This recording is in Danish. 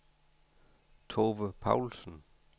Tove Paulsen